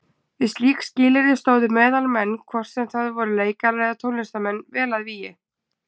Við slík skilyrði stóðu meðalmenn, hvort sem það voru leikarar eða tónlistarmenn, vel að vígi.